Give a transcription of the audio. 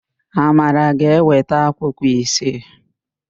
Amara ga-eweta akwụkwọ isii.